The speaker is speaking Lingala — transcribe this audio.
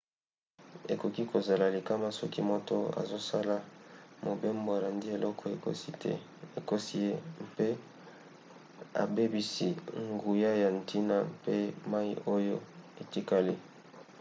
ekoki kozala likama soki moto azosala mobembo alandi eloko ekosi ye mpe abebisi nguya ya ntina mpe mai oyo etikali